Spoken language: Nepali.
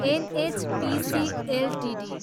NHPC Ltd